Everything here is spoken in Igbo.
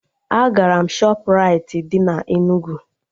Agara m Shọpraịti dị na Enugu